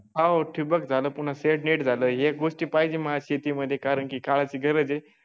हो ठिबक झालं पुन्हा शेडनेट झालं ह्या गोष्टी पाहिजे मला शेतीमध्ये कारण की काळाची गरज आहे.